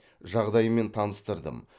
жағдаймен таныстырдым